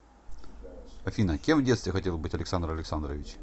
афина кем в детстве хотел быть александр александрович